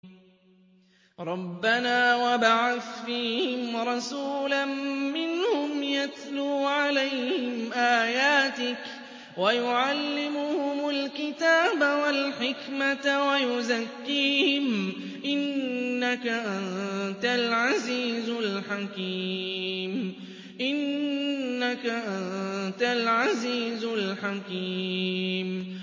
رَبَّنَا وَابْعَثْ فِيهِمْ رَسُولًا مِّنْهُمْ يَتْلُو عَلَيْهِمْ آيَاتِكَ وَيُعَلِّمُهُمُ الْكِتَابَ وَالْحِكْمَةَ وَيُزَكِّيهِمْ ۚ إِنَّكَ أَنتَ الْعَزِيزُ الْحَكِيمُ